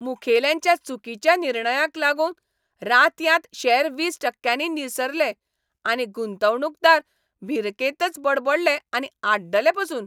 मुखेल्यांच्या चुकीच्या निर्णयाक लागून रातयांत शॅर वीस टक्क्यांनी निसरले आनी गुंतवणूकदार भिरकेंतच बडबडले आनी आड्डले पासून.